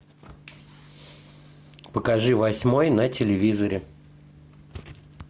покажи восьмой на телевизоре